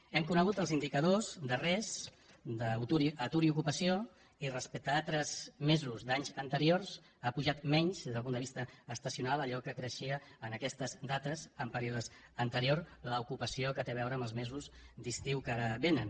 hem conegut els indicadors darrers d’atur i ocupació i respecte a altres mesos d’anys anteriors ha pujat menys des del punt de vista estacional d’allò que creixia en aquestes dates en períodes anteriors l’ocupació que té a veure amb els mesos d’estiu que ara vénen